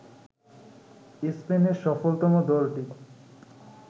স্পেনের সফলতম দলটি